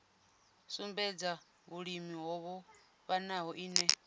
sumbedza vhulimi ho vhofhanaho ine